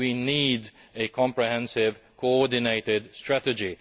We need a comprehensive, coordinated strategy.